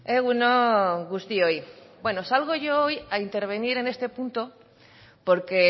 egun on guztioi bueno salgo yo hoy a intervenir en este punto porque